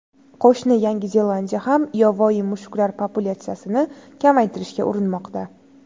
Qo‘shni Yangi Zelandiya ham yovvoyi mushuklar populyatsiyasini kamaytirishga urinmoqda.